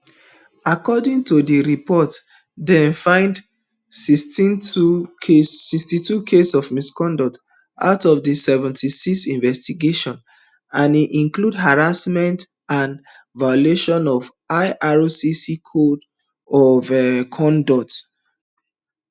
according to di reportdem find sixty-two cases of misconduct out of seventy-six investigations and e include harassment and violations of ircc code of um conduct